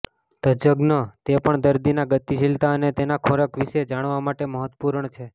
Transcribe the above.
તજજ્ઞ તે પણ દર્દીના ગતિશીલતા અને તેના ખોરાક વિશે જાણવા માટે મહત્વપૂર્ણ છે